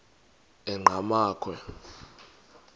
enqgamakhwe